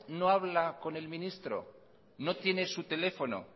no habla con el ministro no tiene su teléfono